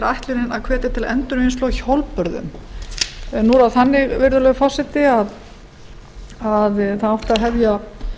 ætlunin að hvetja til endurvinnslu á hjólbörðum nú er það þannig virðulegur forseti að það átti að hefja